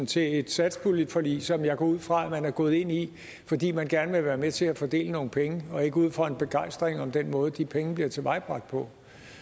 til et satspuljeforlig som jeg går ud fra at man er gået ind i fordi man gerne vil være med til at fordele nogle penge og ikke ud fra en begejstring om den måde at de penge bliver tilvejebragt på